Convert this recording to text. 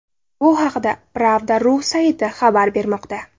Bu haqda Pravda.ru sayti xabar bermoqda .